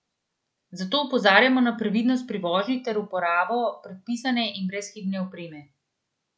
Zato opozarjamo na previdnost pri vožnji ter uporabo predpisane in brezhibne opreme.